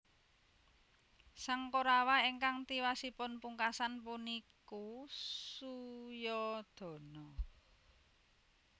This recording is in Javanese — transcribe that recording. Sang Korawa ingkang tiwasipun pungkasan puniku Suyodana